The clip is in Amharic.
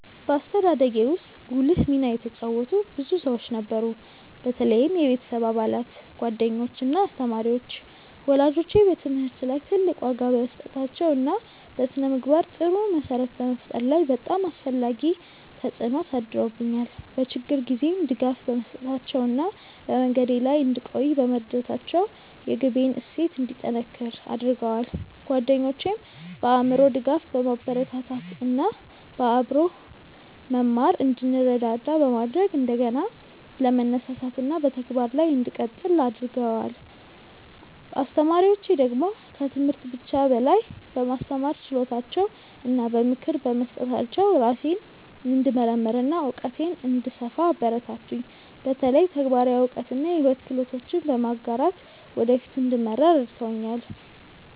በአስተዳደጌ ውስጥ ጉልህ ሚና የተጫወቱ ብዙ ሰዎች ነበሩ፣ በተለይም የቤተሰብ አባላት፣ ጓደኞች እና አስተማሪዎች። ወላጆቼ በትምህርት ላይ ትልቅ ዋጋ በመስጠታቸው እና በስነ-ምግባር ጥሩ መሰረት በመፍጠር ላይ በጣም አስፈላጊ ተጽዕኖ አሳድረውብኛል፤ በችግር ጊዜም ድጋፍ በመስጠታቸው እና በመንገዴ ላይ እንድቆይ በመርዳታቸው የግቤን እሴት እንዲጠነክር አድርገዋል። ጓደኞቼም በአእምሮ ድጋፍ፣ በማበረታታት እና በአብሮ መማር እንድንረዳዳ በማድረግ እንደገና ለመነሳሳት እና በተግባር ላይ እንድቀጥል አግርገደዋል። አስተማሪዎቼ ደግሞ ከትምህርት ብቻ በላይ በማስተማር ችሎታቸው እና በምክር በመስጠታቸው ራሴን እንድመርምር እና እውቀቴን እንድሰፋ አበረታቱኝ፤ በተለይ ተግባራዊ እውቀት እና የሕይወት ክህሎቶችን በመጋራት ወደ ፊት እንድመራ ረድተውኛል።